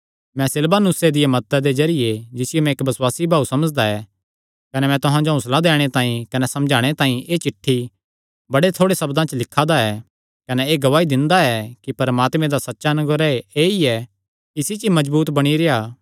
मैं सिलवानुसे दिया मदता दे जरिये जिसियो मैं इक्क बसुआसी भाऊ समझदा ऐ कने मैं तुहां जो हौंसला दैणे तांई कने समझाणे तांई एह़ चिठ्ठी बड़े थोड़े सब्दां च लिखा दा ऐ कने एह़ गवाही दिंदा ऐ कि परमात्मे दा सच्चा अनुग्रह ऐई ऐ इसी च मजबूत बणी रेह्आ